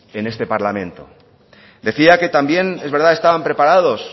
en este parlamento decía que también es verdad estaban preparados